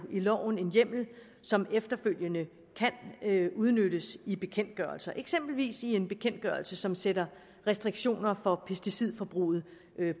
loven en hjemmel som efterfølgende kan udnyttes i bekendtgørelser eksempelvis i en bekendtgørelse som sætter restriktioner for pesticidforbruget